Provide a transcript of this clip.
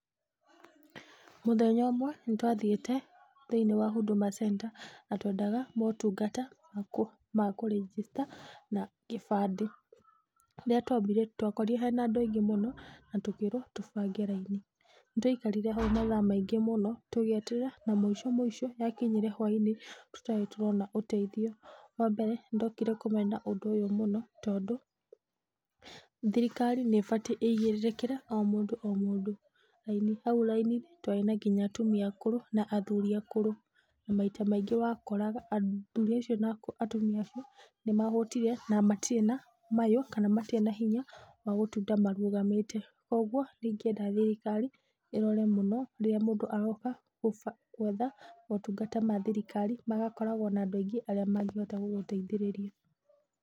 Mũthenya ũmwe nĩtwathiĩte thĩiniĩ wa huduma center, na twendaga motungata ma kũ register na gĩbandĩ. Rĩrĩa twambire, twakorire hena andũ aingĩ mũno na tũkĩrwo tũbange raini. Nĩtwaikarire hau mathaa maingĩ mũno tũgĩeterera na mũico mũico yakinyire hwainĩ tũtarĩ tũrona ũteithio. Wambere nĩndokire kũmena ũndũ ũyũ mũno tondũ, thirikari nĩ ĩbatiĩ ĩigĩrĩrĩkĩre o mũndũ o mũndũ. Raini, hau raini twarĩ na nginya atumia akũrũ na athuri akũrũ, na maita maingĩ wakoraga athuri acio na atumia acio nĩmahũtire na matirĩ na mayũ kana matirĩ na hinya wa gũtinda marũgamĩte. Kwogwo nĩingĩenda thirikari ĩrore mũno rĩrĩa mũndũ aroka gũba, gwetha motungata ma thirikari magakoragwo na andũ aingĩ arĩa mangĩhota gũgũteithĩrĩria.